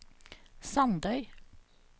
Sandøy